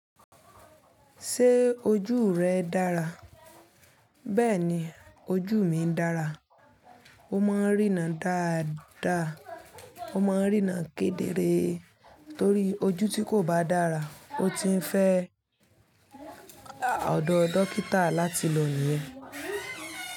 Ṣé ojú rẹ dára? Bẹ́ẹ̀ni, ojú mi ń dára. O máa ń rína dáadáa, o máa ń rína kedere torí ojú tí kò bá dára, o ti ń fẹ́ ọ̀dọ̀ dókítà láti lọ nìyẹn.